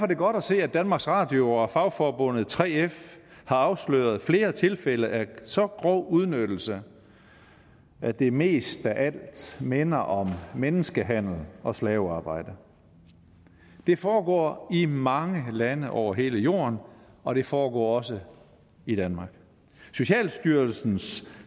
det godt at se at danmarks radio og fagforbundet 3f har afsløret flere tilfælde af så grov udnyttelse at det mest af alt minder om menneskehandel og slavearbejde det foregår i mange lande over hele jorden og det foregår også i danmark socialstyrelsens